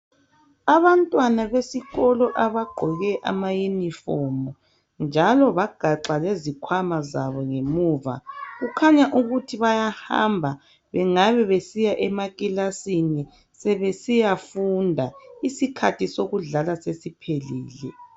abantwana besikolo abagqoke ama uniform njalo bagaxa lezikwama zabo ngemuva kukhanya ukuthi bayahamba bengabe besiya emakilasini sebesiyafunda isikhathi sokudlala sesiphelile